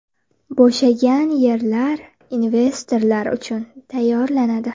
Bo‘shagan yerlar investorlar uchun tayyorlanadi.